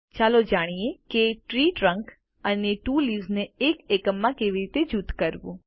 ચાલો જાણીએ કે ત્રી ટ્રંક અને ત્વો લીવ્સ ને એક એકમ માં કેવી રીતે જૂથ કરવું